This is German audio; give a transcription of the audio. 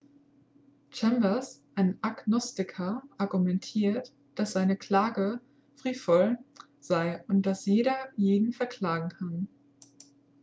chambers ein agnostiker argumentiert dass seine klage frivol sei und dass jeder jeden verklagen kann